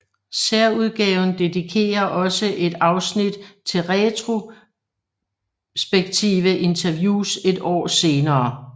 Særudgaven dedikerer også et afsnit til retrospektive interviews et år senere